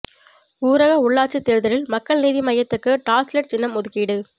ஊரக உள்ளாட்சித் தேர்தலில் மக்கள் நீதி மய்யத்துக்கு டார்ச்லைட் சின்னம் ஒதுக்கீடு